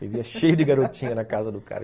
Vivia cheio de garotinha na casa do cara.